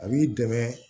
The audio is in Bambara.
A b'i dɛmɛ